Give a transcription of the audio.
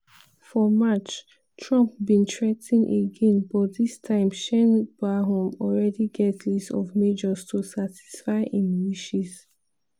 for march trump bin threa ten again but dis time sheinbaum already get list of measures to satisfy im wishes.